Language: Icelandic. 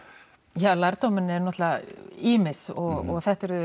já lærdómurinn er náttúrulega ýmis og þetta er